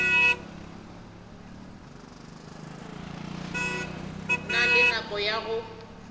na le nako ya go